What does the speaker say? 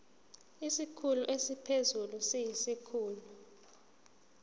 isikhulu esiphezulu siyisikhulu